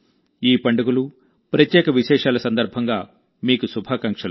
ఈ పండుగలు ప్రత్యేక విశేషాల సందర్భంగా మీకు శుభాకాంక్షలు